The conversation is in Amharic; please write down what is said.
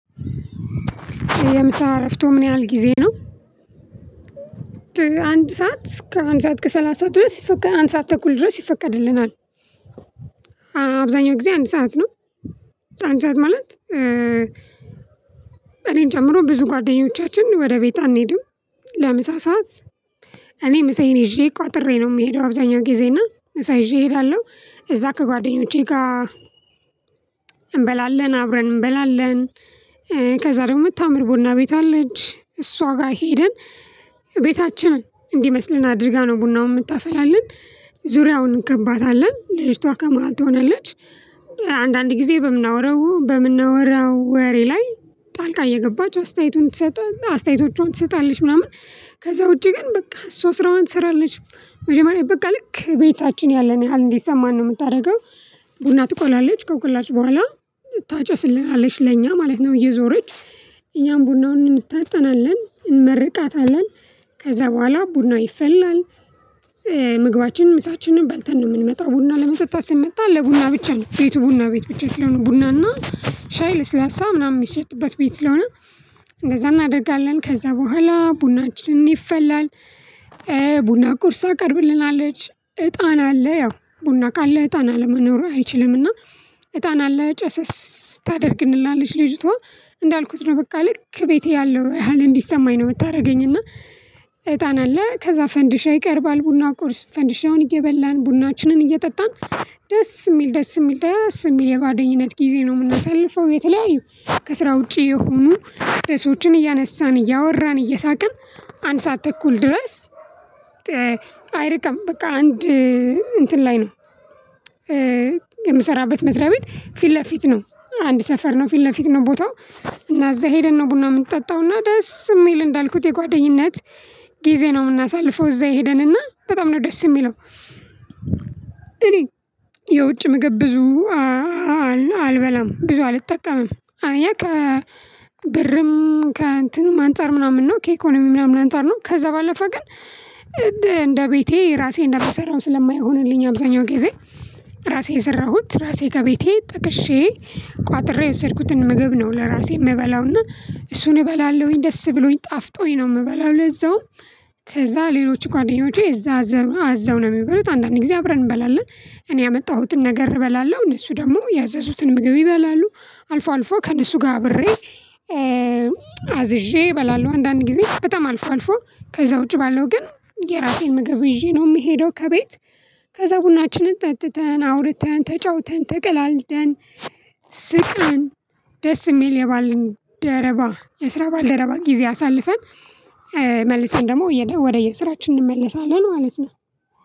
የምሳ እረፍቶ ምን ያህል ጊዜ ነው? አንድ ሰዓት ከአንድ ሰዓት ከሰላሳ ድረስ ይፈቀድ አንድ ሰዓት ተኩል ድረስ ይፈቀድልናል። አብዛኛው ጊዜ አንድ ሰዓት ነው። አንድ ሰዓት ማለት እኔን ጨምሮ ብዙ ጓደኞቻችን ወደ ቤት አንሄድም። ለምሳ ሰዓት እኔ ምሳ ይዤ ቋጥሬ ነው የምሄደው። አብዛኛው ጊዜ እና ምሳ ይዤ እሄዳለሁ እዛ ከጓደኞቼ ጋር እንበላለን አብረን እንበላለን። ከዛ ደግሞ የምታምር ቡና ቤት አለች እሷ ጋር ሄደን ቤታችንን እንዲመስልን አድርጋ ነው ቡናውን የምታፈላለን። ዙሪያውን እንከባታለን ልጅቷ ከመሃል ትሆናለች። አንዳንድ ጊዜ በምናወራው በምናወራው ወሬ ላይ ጣልቃ እየገባች አስተያየቱን ትሰጣለች አስተያየቶቿን ትሰጣለች ምናምን። ከዛ ውጪ ግን በቃ እሷ ስራዋን ትሰራለች። መጀመሪያ በቃ ልክ ቤታችን ያለን ያህል እንዲሰማን ነው የምታደርገው። ቡና ትቆላለች ከቆላች በኋላ ታጨስልናለች ለእኛ ማለት ነው። እየዞረች እኛም ቡናውን እንታጠናለን እንመርቃታለን። ከዛ በኋላ ቡና ይፈላል። ምግባችን ምሳችንን በልተን ነው የምንመጣው ቡና ለመጠጣት ስንመጣ ለቡና ብቻ ነው። ቤቱ ቡና ቤት ብቻ ስለሆነ ቡና እና ሻይ ለስላሳ ምናምን የሚሸጥበት ቤት ስለሆነ። እንደዛ እናደርጋለን ከዛ በኋላ ቡናችንን ይፈላል። ቡና ቁርሳ ተቀርብልናለች እጣን አለ ያው ቡና ካለ እጣን ለመኖር አይችልምና። እጣን አለ ጨሰስ ታደርግልናለች ልጅቷ። እንዳልኩት ነው በቃ ልክ ቤቴ ያለው ያህል እንዲሰማኝ ነው የምታደርገኝ። እና እጣን አለ ከዛ ፈንዲሻ ይቀርባል ቡና ቁርስ ፈንዲሽ ነው እየበላን ቡናችንን እየጠጣን። ደስ የሚል ደስ የሚል ደስ የሚል የጓደኝነት ጊዜ ነው የምናሳልፈው። የተለያየ ከስራ ውጪ የሆኑ ርዕሶችን እያነሳን እያወራን እየሳቅን አንድ ሰዓት ተኩል ድረስ። አይርቅም በቃ አንድ እንትን ላይ ነው። የምሰራበት መስሪያ ቤት ፊት ለፊት ነው አንድ ሰፈር ነው ፊት ለፊት ነው ቦታው። እና እዛ ሄደን ነው ቡና የምንጠጣው እና ደስ የሚል እንዳልኩት የጓደኝነት ጊዜ ነው የምናሳልፈው። እዛ ሄደን እና በጣም ነው ደስ የሚለው። እኔ የውጭ ምግብ ብዙ አልበላም ብዙ አልጠቀምም አንደኛ ከብርም ከእንትንም አንፃር ምናምን ነው ከኢኮኖሚም ምናምን አንፃር ነው ከዛ ባለፈ ግን። እንደ ቤቴ ራሴ እንደምሰራው ስለማይሆንልኝ አብዛኛው ጊዜ ራሴ የሰራሁት ራሴ ከቤቴ ጠቅሼ ቋጥሬ የወሰድኩትን ምግብ ነው ለራሴ የምበላውና እሱን እበላለሁኝ። ደስ ብሎኝ ጣፍጦኝ ነው የምበላው። ለዛውም ከዛ ሌሎች ጓደኞቼ እዛ አዘው ነው የሚበሉት አንዳንድ ጊዜ አብረን እንበላለን። እኔ ያመጣሁትን ነገር እበላለሁ እነሱ ደግሞ ያዘዙትን ምግብ ይበላሉ። አልፎ አልፎ ከእነሱ ጋር አብሬ አዝዤ እበላለሁ። አንዳንድ ጊዜ በጣም አልፎ አልፎ ከዛ ውጪ ባለው ግን የራሴን ምግብ ይዤ ነው የምሄደው። ከቤት ከዛ ቡናችንን ጠጥተን አውርተን ተጫውተን ተቀላልደን ስቀን ደስ የሚል የባልደረባ የስራ ባልደረባ ጊዜ አሳልፈን። መልሰን ደግሞ ወደየ ስራችን እንመለሳለን ማለት ነው።